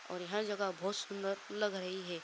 और यह जगह बोहोत सुंदर लग रही है।